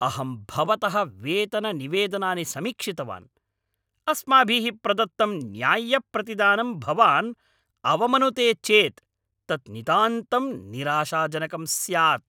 अहं भवतः वेतननिवेदनानि समीक्षितवान्, अस्माभिः प्रदत्तं न्याय्यप्रतिदानं भवान् अवमनुते चेत् तत् नितान्तं निराशाजनकं स्यात्।